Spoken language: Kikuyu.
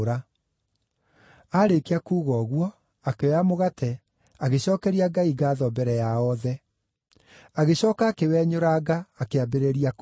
Aarĩkia kuuga ũguo, akĩoya mũgate, agĩcookeria Ngai ngaatho mbere yao othe. Agĩcooka akĩwenyũranga, akĩambĩrĩria kũrĩa.